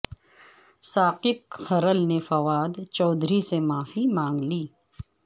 ثاقب کھرل نے فواد چودھری سے معافی مانگ لی